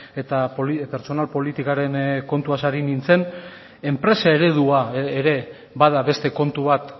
eta pertsonal politikaren kontuaz ari nintzen enpresa eredua ere bada beste kontu bat